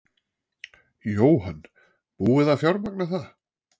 Jóhann: Búið að fjármagna það?